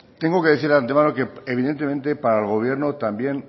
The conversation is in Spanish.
tengo que decirle de antemano que evidentemente para el gobierno también